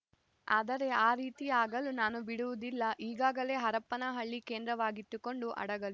ಆದರೆ ಆ ರೀತಿ ಆಗಲು ನಾನು ಬಿಡುವುದಿಲ್ಲ ಈಗಾಗಲೇ ಹರಪನಹಳ್ಳಿ ಕೇಂದ್ರವಾಗಿಟ್ಟುಕೊಂಡು ಹಡಗಲಿ